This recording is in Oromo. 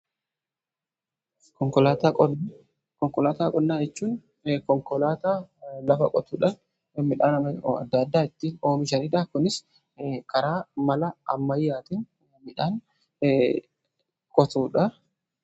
Konkolaataa qonnaa: Konkolaataa qonnaa jechuun konkolaataa lafa qotuudha. Midhaan adda addaa ittiin oomishanidha. Kunis karaa mala ammayyaatin midhaan qotuudha.